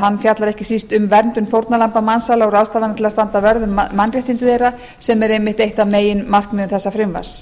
hann fjallar ekki síst um verndun fórnarlamba mansals og ráðstafanir til að standa vörð um mannréttindi þeirra sem er einmitt eitt af meginmarkmiðum þessa frumvarps